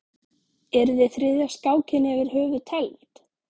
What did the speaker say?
Yrði þriðja skákin yfir höfuð tefld?